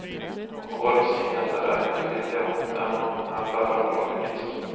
Och årets nyheter är inte billiga, även om många affärer har lockpriser.